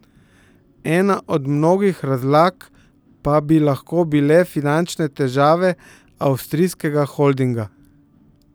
Ena od mogočih razlag pa bi lahko bile finančne težave avstrijskega holdinga.